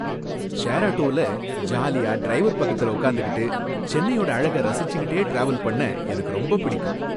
Share ஆட்டோவுல ஜாலியா driver பக்கத்துல உக்காந்துக்கிட்டு சென்னையோட அழக ரசிச்சுக்கிட்டே டிராவல் பண்ண எனக்கு ரொம்ப பிடிக்கும்.